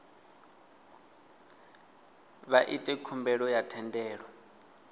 vha ite khumbelo ya thendelo